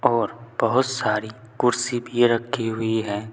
और बहुत सारी कुर्सी भी रखी हुई है।